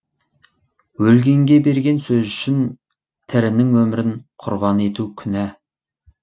өлгенге берген сөз үшін тірінің өмірін құрбан ету күнә